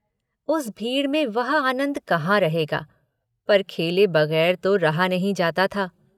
उस भीड़ में वह आनन्द कहाँ रहेगा पर खेले बगैर तो रहा नहीं जाता था।